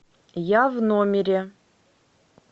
я в номере